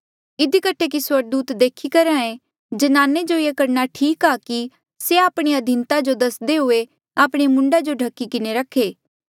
इधी कठे कि स्वर्गदूता देखी करहे ज्नाने जो ये करणा ठीक आ कि से आपणी अधीनता जो दस्दे हुए आपणे मूंडा जो ढ्खही किन्हें रखे